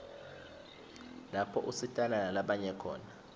lapho usitana nalabanye khona